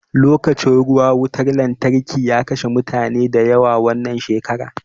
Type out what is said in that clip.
Lokacin ruwa wutan lantarki ya kashe mutane da yawa wannan shekara